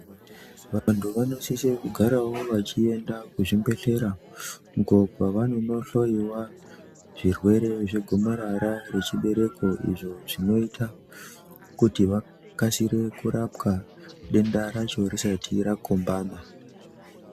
Vantu vanosise kugaravo vachienda kuzvimbehlera uko kwavanonohloyiwa zvirwere zvegomarara rechibereko izvo zvinoita kuti vakasire kurapwa denda racho risati rakombama.